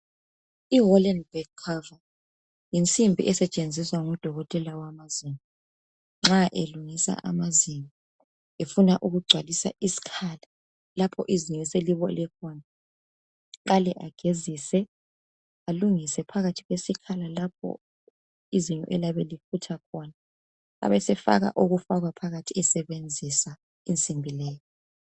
Ihalebag cover, yinsimbi esetshenziswa ngudokotela wamazinyo. Nxa elungisa amazinyo, efuna ukugcwalisa isikhala. Lapha izinyo eliyabe selibole khona. Aqale agezise, alungise phakathi kwesikhala, lapho izinyo eliyabe lifutha khona. Abesefaka okufakwa phakathi, sebenzisa insimbi leyi.